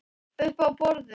Uppi á borði?